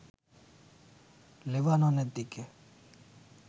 লেবাননের দিকে